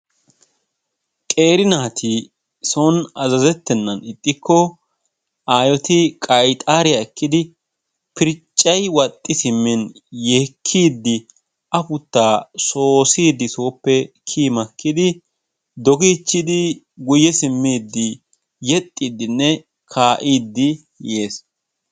qeeri naati son azzazettenan ixxiko aayoti qayxariyaa ekkidi pirccayi wal"i siimmin yeekkidi aputtaa soossiidi sooppe kiiyi maakkidi doogiichiidii guyye simiidii yeexxidinne kaa"iidi yees.